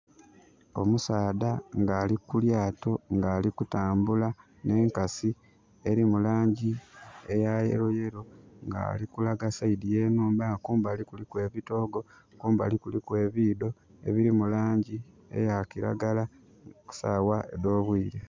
Omusaadha nga ali ku lyaato nga ali kutambula n'enkasi elimu langi eya yellow yellow. Nga ali kulaga side y'enhumba. Nga kumbali kuliku ebitoogo, kumbali kuliku ebiidho ebiri mu langi eya kiragala, ku saawa edh'obwiire.